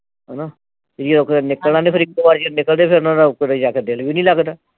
ਹਣਾ ਨਿਕਲਣਾ ਨੀ ਫਿਰ ਇਕੋ ਵਾਰ ਨਿਕਲਦੇ ਜਾ ਕੇ ਦਿਲ ਵੀ ਨੀ ਲੱਗਦਾ